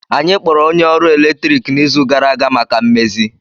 Anyị kpọrọ onye ọkụ eletrik n'izu gara aga maka mmezi